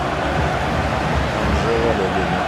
анжела олеговна